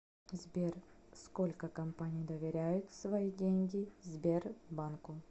сбер сколько компаний доверяют свои деньги сбербанку